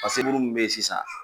Pa seburu min be yen sisan